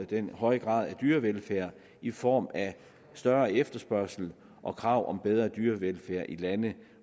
den høje grad af dyrevelfærd i form af større efterspørgsel og krav om bedre dyrevelfærd i lande